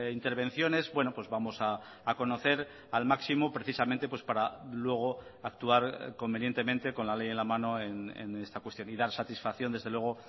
intervenciones bueno pues vamos a conocer al máximo precisamente para luego actuar convenientemente con la ley en la mano en esta cuestión y dar satisfacción desde luego